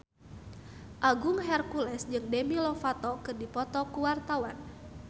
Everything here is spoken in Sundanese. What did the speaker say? Agung Hercules jeung Demi Lovato keur dipoto ku wartawan